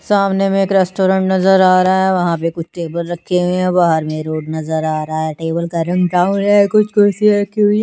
सामने मे एक रेस्टोरेंट नजर आ रहा है वहाँ पे कुछ टेबल रखी हुई है बाहर मे रोड नजर आ रहा है टेबल का रंग ब्राउन है कुछ कुर्सियाँ रखी हुई है।